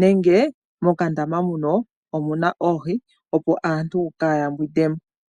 nenge mokandama muka omuna oohi opo aantu kaays mbwindemo.